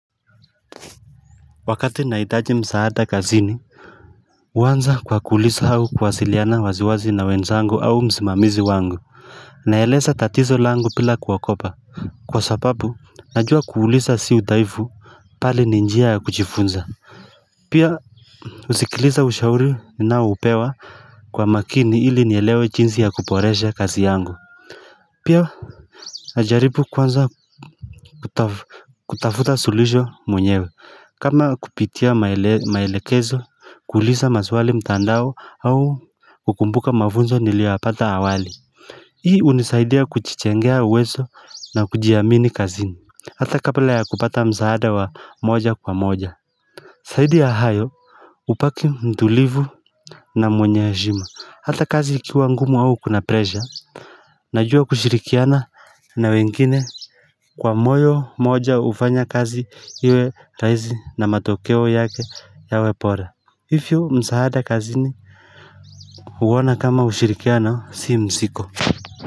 Wakati nahitaji msaada kazini huwanza kwa kuuliza au kwa kuwasiliana waziwazi na wenzangu au msimamizi wangu naeleza tatizo langu bila kuogopa kwa sababu najua kuuliza si udhaifu bali ni njia ya kujifunza pia husikiliza ushauri nanaopewa kwa makini ili nielewe jinsi ya kuboresha kazi yangu pia najaribu kwanza kutafuta suluhisho mwenyewe kama kupitia maelekezo, kuuliza maswali mtandao au kukumbuka mafunzo niliwapata awali Hii hunisaidia kujijengea uwezo na kujiamini kazini Hata kabla ya kupata msaada wa moja kwa moja zaidi ya hayo hubaki mtulivu na mwenye heshima Hata kazi ikiwa ngumu au kuna pressure Najua kushirikiana na wengine kwa moyo moja hufanya kazi iwe raisi na matokeo yake yawe bora hivyo msaada kazini huona kama ushirikiana si mzigo.